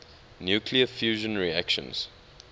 nuclear fusion reactions